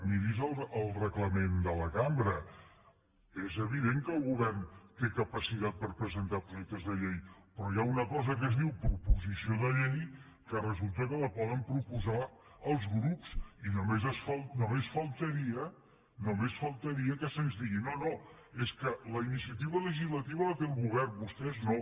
miri’s el reglament de la cambra és evident que el govern té capacitat per presentar projectes de llei però hi ha una cosa que es diu proposició de llei que resulta que la poden pro·posar els grups i només faltaria només faltaria que se’ns digui no no és que la iniciativa legislativa la té el govern vostès no